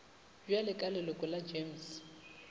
bjale ka leloko la gems